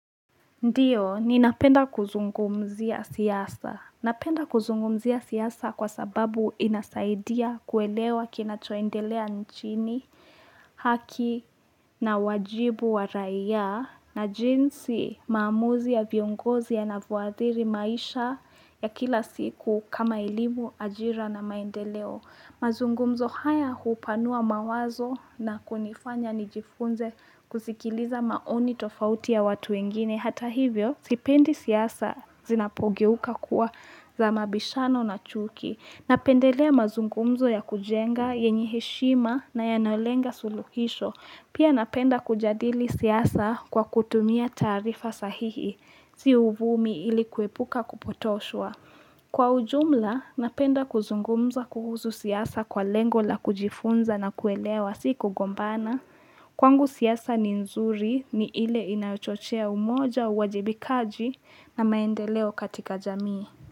Ndiyo, ninapenda kuzungumzia siasa. Napenda kuzungumzia siasa kwa sababu inasaidia kuelewa kinachoendelea nchini. Haki na wajibu wa raia. Na jinsi maamuzi ya viongozi yanavyoathiri maisha ya kila siku kama elimu, ajira na maendeleo. Mazungumzo haya hupanua mawazo na kunifanya nijifunze kusikiliza maoni tofauti ya watu wengine. Hata hivyo, sipendi siasa zinapogeuka kuwa za mabishano na chuki. Napendelea mazungumzo ya kujenga, yenye heshima na yanalenga suluhisho. Pia napenda kujadili siyasa kwa kutumia tarifa sahihi. Si uvumi ili kuepuka kupotoshwa. Kwa ujumla, napenda kuzungumza kuhusu siasa kwa lengo la kujifunza na kuelewa, si kugombana. Kwangu siasa ni nzuri ni ile inachochea umoja uwajibikaji na maendeleo katika jamii.